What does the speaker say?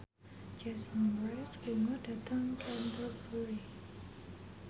Jason Mraz lunga dhateng Canterbury